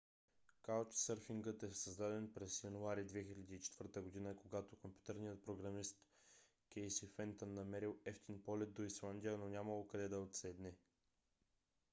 каучсърфингът е създаден през януари 2004 г. когато компютърният програмист кейси фентън намерил евтин полет до исландия но нямало къде да отседне